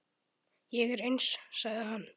Ég er eins, sagði hann.